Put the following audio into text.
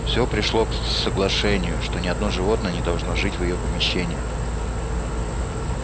всё пришло к соглашению что ни одно животное не должно жить в её помещениях